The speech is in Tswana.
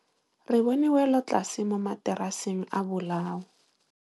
Re bone wêlôtlasê mo mataraseng a bolaô.